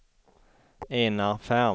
Enar Ferm